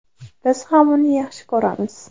Biz ham uni yaxshi ko‘ramiz.